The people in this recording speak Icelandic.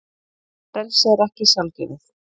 Frelsi er ekki sjálfgefið.